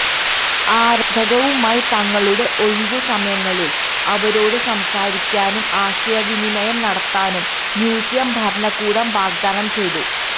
ആരാധകരുമായി തങ്ങളുടെ ഒഴിവുസമയങ്ങളിൽ അവരോട് സംസാരിക്കാനും ആശയവിനിമയം നടത്താനും മ്യൂസിയം ഭരണകൂടം വാഗ്ദാനം ചെയ്തു